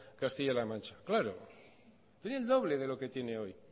castilla la mancha claro tenía el doble de lo que tiene hoy y